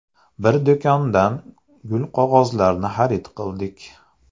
Bir do‘kondan gulqog‘ozlarni xarid qildik.